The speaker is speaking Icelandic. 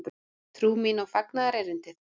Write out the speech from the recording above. Trú mín og fagnaðarerindið?